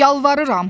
Yalvarıram.